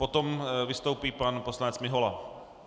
Potom vystoupí pan poslanec Mihola.